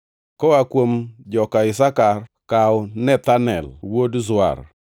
koa kuom joka Isakar, kaw Nethanel wuod Zuar;